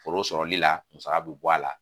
Foro sɔrɔli la musaka bɛ bɔ a la